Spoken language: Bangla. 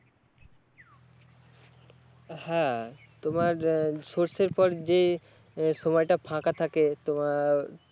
হ্যাঁ তোমার সর্ষের পর যে সময়টা ফাঁকা থাকে তোমার